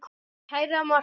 Kæra Martha.